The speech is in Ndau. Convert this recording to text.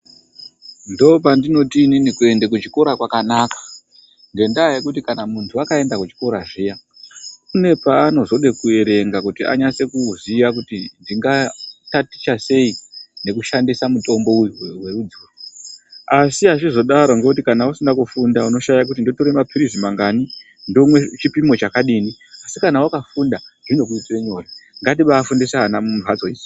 Ndopandinoti inini kuenda kuchikora kwakanaka ngenda yekuti mundu akaenda kuchikora zviya kune panoda kuzoerenga kuti anyatsoziva kuti ndinga taticha sei nekushandisa mutombo werudzi iri asi tinyasi kuzodaro ngekuti kana usina kufunda unoshaya kuti ndotora mapirizi mangani ndomwe chipimo chakadii asi kana wakafunda zvinokuitira nyore ngatiba fundisai ana mumbatso idzi.